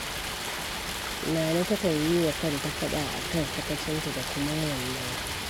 Nana takan yi wa kanta faɗa a kan sakacinta da kuma yawan nawa.